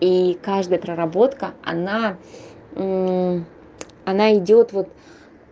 и каждая проработка она она идёт вот